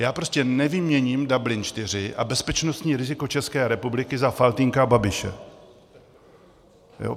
Já prostě nevyměním Dublin IV a bezpečnostní riziko České republiky za Faltýnka a Babiše.